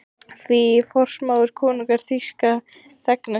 Því forsmáir konungur þýska þegna sína?